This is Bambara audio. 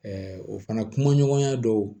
o fana kumaɲɔgɔnya dɔw